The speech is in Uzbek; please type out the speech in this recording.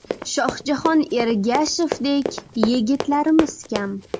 Shohjahon Ergashevdek yigitlarimiz kam.